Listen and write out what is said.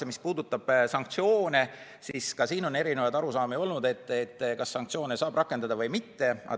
Ja mis puudutab sanktsioone, siis ka selles osas on erinevaid arusaamu olnud, kas sanktsioone saab rakendada või mitte.